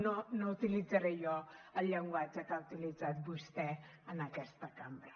no no utilitzaré jo el llenguatge que ha utilitzat vostè en aquesta cambra